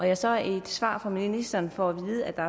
jeg så i et svar fra ministeren får at vide at der